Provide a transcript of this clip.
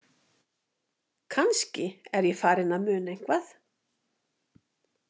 Kannski er ég farin að muna eitthvað?